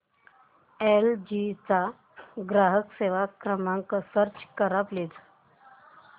L G चा ग्राहक सेवा क्रमांक सर्च कर प्लीज